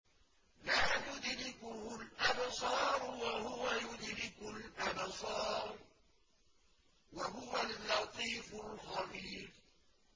لَّا تُدْرِكُهُ الْأَبْصَارُ وَهُوَ يُدْرِكُ الْأَبْصَارَ ۖ وَهُوَ اللَّطِيفُ الْخَبِيرُ